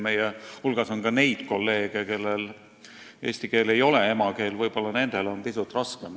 Meie hulgas on ka neid kolleege, kellele eesti keel ei ole emakeel, võib-olla nendel on pisut raskem.